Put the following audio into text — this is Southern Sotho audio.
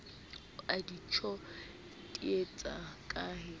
o a ntjodietsa ha ke